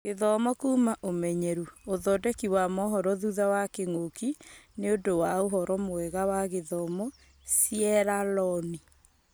Gũthoma kuuma ũmenyeru: ũthondeki wa mohoro thutha wa kĩng'ũki nĩũndũ wa ũhoro mwega wa gĩthomo Sieraloni.